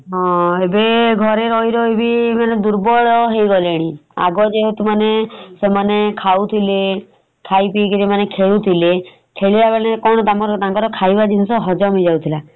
ଏବେ ଘରେ ରହି ରହି କି ମାନେ ଦୁର୍ବଳ ହେଇଗଲେଣି ଆଗ ଯେମିତି ମାନେ ସେମାନେ ଖାଉଥିଲେ ଖାଇ ପିଇକିରି ମାନେ ଖେଳୁଥିଲେ ଖେଳିଲା ବାଲାଙ୍କ କଣ ତାଙ୍କର ଖାଇବା ଜିନିଷ ହଜମ ହେଇଯାଉଥିଲା ।